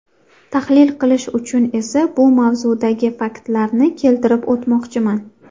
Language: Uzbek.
Tahlil qilish uchun esa bu mavzudagi faktlarni keltirib o‘tmoqchiman.